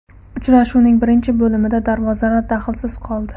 Uchrashuvning birinchi bo‘limida darvozalar daxlsiz qoldi.